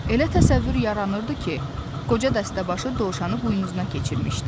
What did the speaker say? Elə təsəvvür yaranırdı ki, qoca dəstəbaşı dovşanı buynuzuna keçirmişdi.